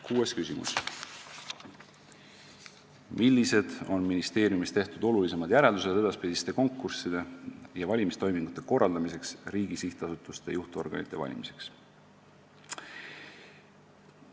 Kuues küsimus: "Millised on ministeeriumis tehtud olulisemad järeldused edaspidiste konkursside ja valimistoimingute korraldamiseks riigi sihtasutuste juhtorganite valimiseks?